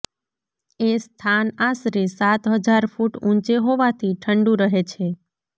એ સ્થાન આશરે સાત હજાર ફૂટ ઊંચે હોવાથી ઠંડુ રહે છે